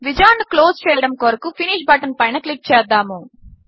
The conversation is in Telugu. విజార్డ్ ను క్లోజ్ చేయడము కొరకు ఫినిష్ బటన్ పైన క్లిక్ చేద్దాము